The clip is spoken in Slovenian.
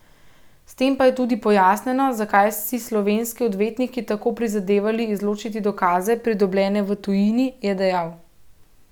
S tem pa je tudi pojasnjeno, zakaj so si slovenski odvetniki tako prizadevali izločiti dokaze, pridobljene v tujini, je dejal.